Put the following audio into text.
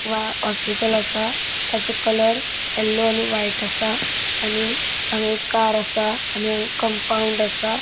वा हॉस्पिटल असा. ताजो कलर येल्लो आणि व्हाइट असा. आणि हांगा एक कार असा. आणि हांगा कम्पाउन्ड आसा.